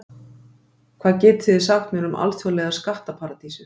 Hvað getið þið sagt mér um alþjóðlegar skattaparadísir?